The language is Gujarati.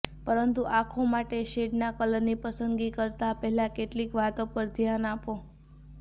પરંતુ આંખો માટે શેડનાં કલરની પસંદગી કરતા પહેલા કેટલીક વાતો પર ધ્યાન આપો